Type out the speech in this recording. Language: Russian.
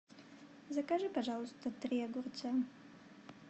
закажи пожалуйста три огурца